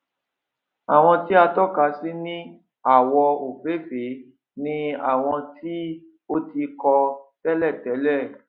àwọn tí a tọka sí ní àwọ òfééfèé ni àwọn tí o ti kọ tẹlẹ tẹlẹ